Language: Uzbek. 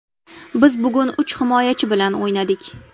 Biz bugun uch himoyachi bilan o‘ynadik.